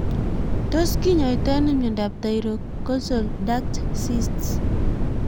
Tos kinyaoitoi ano miondop thyroglossal duct cysts